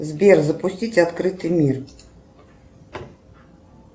сбер запустить открытый мир